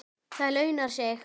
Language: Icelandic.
Það launar sig.